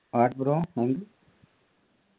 what bro